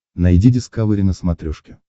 найди дискавери на смотрешке